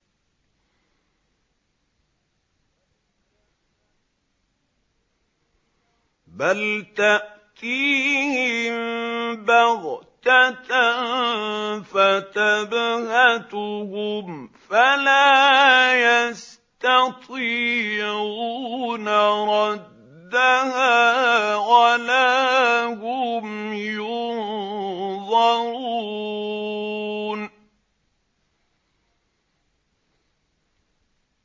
بَلْ تَأْتِيهِم بَغْتَةً فَتَبْهَتُهُمْ فَلَا يَسْتَطِيعُونَ رَدَّهَا وَلَا هُمْ يُنظَرُونَ